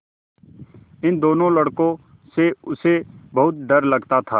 इन दोनों लड़कों से उसे बहुत डर लगता था